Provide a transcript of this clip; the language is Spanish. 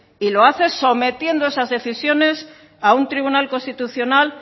y lo hace sometiendo esas decisiones a un tribunal constitucional